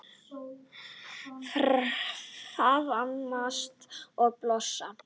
Faðmast og blossa.